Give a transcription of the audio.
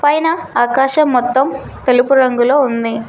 పైన ఆకాశం మొత్తం తెలుపు రంగులో ఉంది.